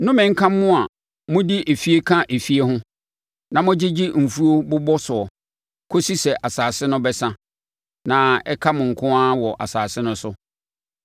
Nnome nka mo a mode efie ka efie ho na mogyegye mfuo bobɔ soɔ kɔsi sɛ asase no bɛsa na ɛka mo nko ara wɔ asase no so.